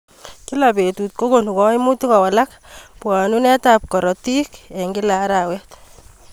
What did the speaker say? Kila betut kokonu kaimutik kowalak bwanunuet ab karotik eng kila arawet.